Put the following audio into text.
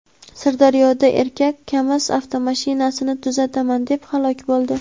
Sirdaryoda erkak "Kamaz" avtomashinasini tuzataman deb halok bo‘ldi.